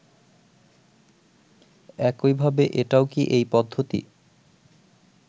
একইভাবে এটাও কি এই পদ্ধতি